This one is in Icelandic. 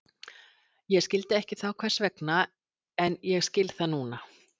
Ég skildi ekki þá hvers vegna, en ég skil það núna.